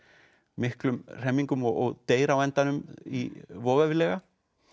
miklum hremmingum og deyr á endanum voveiflega